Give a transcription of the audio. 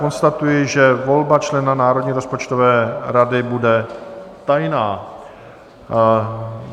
Konstatuji, že volba člena Národní rozpočtové rady bude tajná.